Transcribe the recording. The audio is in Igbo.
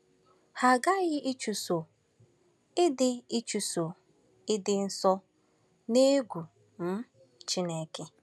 Ha aghaghị ịchụso “ịdị ịchụso “ịdị nsọ n’egwu um Chineke.”